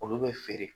Olu bɛ feere